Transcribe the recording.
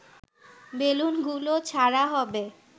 বেলুনগুলো ছাড়া হবে